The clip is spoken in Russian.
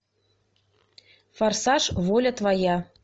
форсаж воля твоя